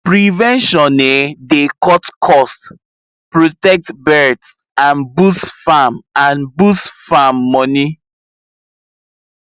prevention um dey cut cost protect birds and boost farm and boost farm money